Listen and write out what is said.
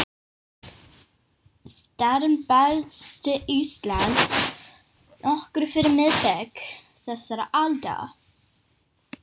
Starrinn barst til Íslands nokkru fyrir miðbik þessarar aldar